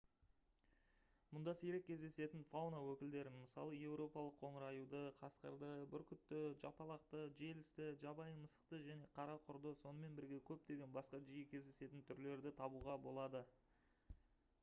мұнда сирек кездесетін фауна өкілдерін мысалы еуропалық қоңыр аюды қасқырды бүркітті жапалақты желісті жабайы мысықты және қара құрды сонымен бірге көптеген басқа жиі кездесетін түрлерді табуға болады